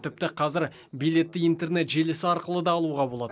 тіпті қазір билетті интернет желісі арқылы да алуға болады